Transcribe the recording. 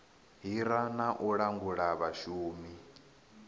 hira na u langula vhashumi